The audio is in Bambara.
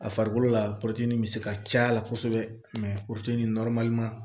A farikolo la bɛ se ka c'a la kosɛbɛ